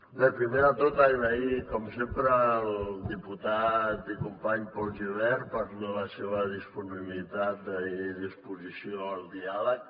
bé primer de tot donar les gràcies com sempre al diputat i company pol gibert per la seva disponibilitat i disposició al diàleg